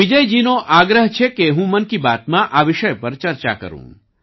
વિજયજીનો આગ્રહ છે કે હું મન કી બાતમાં આ વિષય પર ચર્ચા કરું